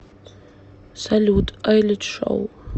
салют айлич шоу